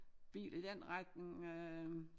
Biler i den retning øh